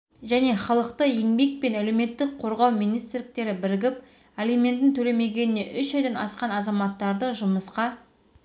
және халықты еңбек пен әлеуметтік қорғау министрліктері бірігіп алиментін төлемегеніне үш айдан асқан азаматтарды жұмысқа